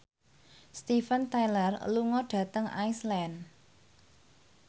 Steven Tyler lunga dhateng Iceland